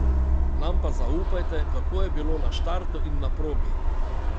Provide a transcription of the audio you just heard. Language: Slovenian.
Nam pa zaupajte, kako je bilo na štartu in na progi.